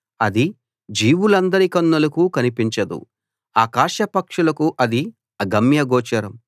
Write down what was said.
అది జీవులందరి కన్నులకు కనిపించదు ఆకాశ పక్షులకు అది అగమ్యగోచరం